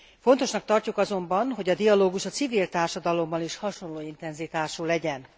Fontosnak tartjuk azonban, hogy a dialógus a civil társadalomban is hasonló intenzitású legyen.